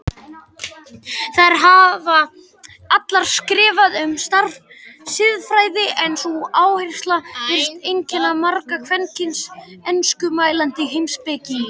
Þær hafa allar skrifað um siðfræði en sú áhersla virðist einkenna marga kvenkyns enskumælandi heimspekinga.